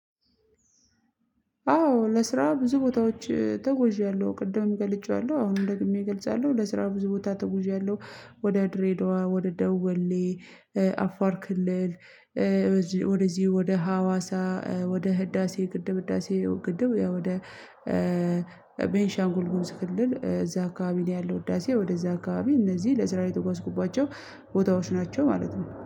አዎ ለስራ ብዙ ቦታዎች ተጉዣለሁ ቅድም ገልጬዋለሁ አሁንም ደግሜ እገልጻለሁ ለስራ ብዙ ቦታ ተጉዣለሁ ወደ ድሬዳዋ ወደ ደወሌ አፋር ክልል። ወደዚህ ወደ ሀዋሳ ወደ ህዳሴ ግድብ ህዳሴ ግድብ ወደ ቤንሻንጉል ጉምስ ክልል እዛ አካባቢ ነው ያለው ህዳሴው ወደዛ አካባቢ እነዚህ ለስራ የተጓዝኩባቸው ቦታዎች ናቸው ማለት ነው